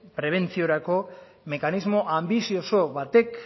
prebentziorako mekanismo ambizioso batek